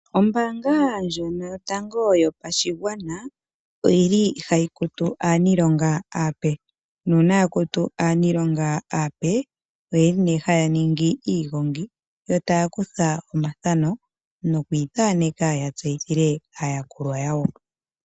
Ombaanga ndjono Yotago Yopashigwana oyili hayi kutu aaniilonga aape, nuuna yakutu aaniilonga aape oyeli nee haya ningi iigongi yo taya kutha omathano, noku ithaneka ya tseyithile aayakulwa yawo.